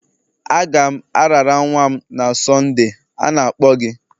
Aga m arara nwa m na Sonde, a na-akpọ gị.